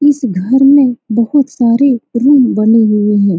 इस घर में बहुत सारे रूम बने हुए है।